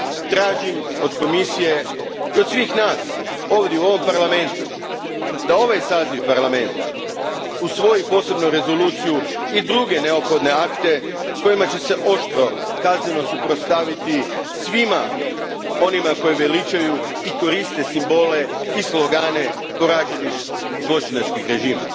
Tražim od Komisije i od svih nas ovdje u ovom Parlamentu da ovaj saziv Parlamenta usvoji posebnu rezoluciju i druge neophodne akte kojima će se oštro kazneno suprotstaviti svima onima koji veličaju i koriste simbole i slogane poraženih zločinačkih režima.